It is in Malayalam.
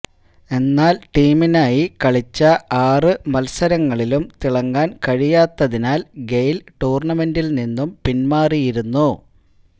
എന്നാൽ ടീമിനായി കളിച്ച ആറ് മത്സരങ്ങളിലും തിളങ്ങാൻ കഴിയാത്തതിനാൽ ഗെയ്ൽ ടൂർണമെന്റിൽ നിന്നും പിന്മാറിയിരുന്നു